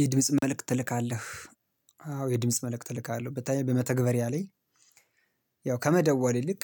የድምጽ መልእክት ትልካለህ? አዎ የድምጽ መልእክት እልካለሁ በተለይ በመተግበርያ ለይ ያው ከመደወል ይልቅ